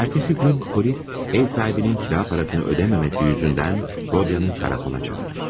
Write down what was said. Ertəsi gün polis ev sahibinin kira parasını ödəməməsi yüzündən Rodya'nı karakola çağırır.